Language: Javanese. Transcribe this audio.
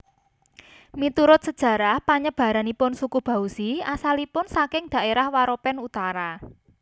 Miturut sajarah panyebaranipun suku Bauzi asalipun saking daérah Waropen utara